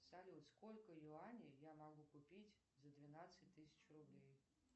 салют сколько юаней я могу купить за двенадцать тысяч рублей